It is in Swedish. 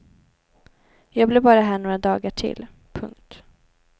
Jag blir bara här några dagar till. punkt